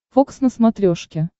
фокс на смотрешке